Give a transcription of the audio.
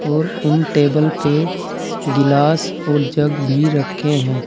और उन टेबल पे गिलास और जग भी रखे है।